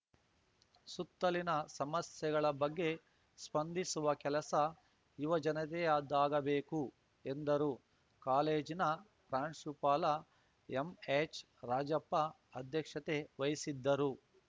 ಸುತ್ತಲಿನ ಸಮಸ್ಯೆಗಳ ಬಗ್ಗೆ ಸ್ಪಂದಿಸುವ ಕೆಲಸ ಯುವಜನತೆಯದ್ದಾಗಬೇಕು ಎಂದರು ಕಾಲೇಜಿನ ಪ್ರಾಂಶುಪಾಲ ಎಂಎಚ್‌ರಾಜಪ್ಪ ಅಧ್ಯಕ್ಷತೆ ವಹಿಸಿದ್ದರು